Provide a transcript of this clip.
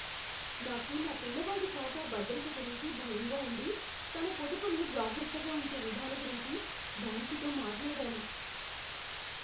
నాకు నా పిల్లవాడి ఖాతా భద్రత గురించి భయంగా ఉండి తన పొదుపును జాగ్రత్తగా ఉంచే విధాల గురించి బ్యాంకుతో మాట్లాడాను.